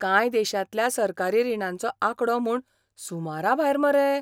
कांय देशांतल्या सरकारी रिणांचो आंकडो म्हूण सुमराभायर मरे.